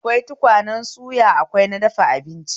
Akwai tukunyar suya akwai na dafa abinci